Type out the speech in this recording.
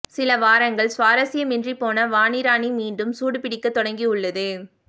சிலவாரங்கள் சுவாரஸ்யமின்றி போன வாணி ராணி மீண்டும் சூடுபிடிக்கத் தொடங்கியுள்ளது